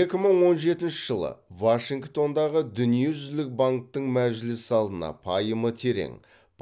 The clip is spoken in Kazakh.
екі мың он жетінші жылы вашингтондағы дүниежүзілік банктің мәжіліс залына пайымы терең